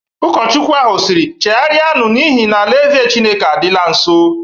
Ụkọchukwu ahụ siri, "Chegharianu! n'ihi na ala-eze Chineke adịla nso.